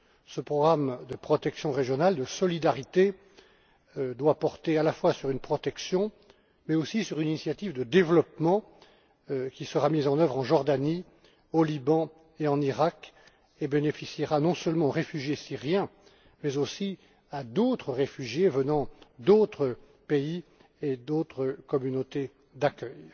Ce programme de protection régionale, de solidarité, doit porter à la fois sur une protection mais aussi sur une initiative de développement, qui sera mise en œuvre en Jordanie, au Liban et en Irak, et bénéficiera non seulement aux réfugiés syriens mais aussi à d'autres réfugiés venant d'autres pays et d'autres communautés d'accueil.